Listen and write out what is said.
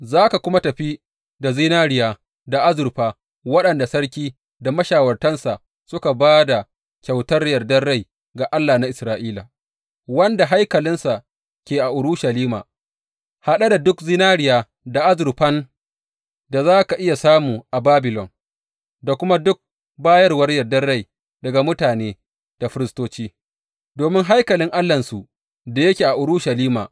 Za ka kuma tafi da zinariya da azurfa waɗanda sarki da mashawartansa suka ba da kyautar yardar rai ga Allah na Isra’ila, wanda haikalinsa ke a Urushalima, haɗe da duk zinariya da azurfan da za ka iya samu a Babilon, da kuma duk bayarwar yardar rai daga mutane da firistoci, domin haikalin Allahnsu da yake a Urushalima.